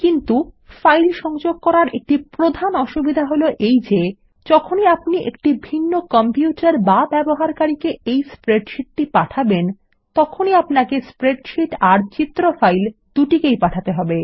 কিন্তু ফাইল সংযোগ করার একটি প্রধান অসুবিধা হল এই যে যখনই আপনি একটি ভিন্ন কম্পিউটার বা ব্যবহারকারীকে এই স্প্রেডশীট পাঠাবেন আপনাকে স্প্রেডশীট আর চিত্র ফাইল দুটিকেই পাঠাতে হবে